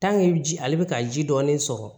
ji ale bɛ ka ji dɔɔnin sɔrɔ